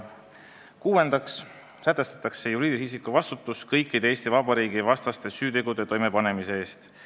Kuuendaks sätestatakse juriidilise isiku vastutus kõikide Eesti Vabariigi vastaste süütegude toimepanemise eest.